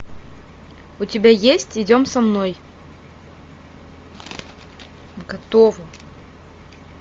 у тебя есть идем со мной готово